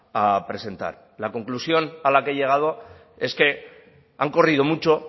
a presentar la conclusión a la que he llegado es que han corrido mucho